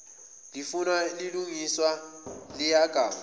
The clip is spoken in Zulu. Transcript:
lifunwa lilugiswa ligaywa